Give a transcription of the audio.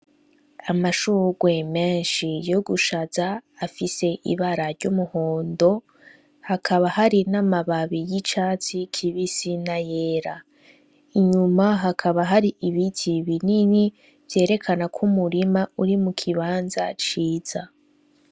Amashurwe menshi yo gushaza afise ibara ry'umuhondo hakaba hari n'amababi y'icatsi kibe isina yera inyuma hakaba hari ibiti binini vyerekana ko umurima uri mu kibanza ciza.